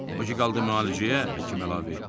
O ki qaldı müalicəyə, həkim əlavə etdi.